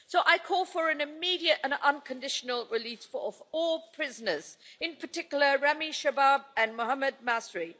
So I call for an immediate and unconditional release of all prisoners, in particular Ramy Shaabh and Mohamed Masry.